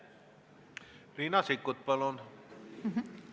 Riina Sikkut, palun!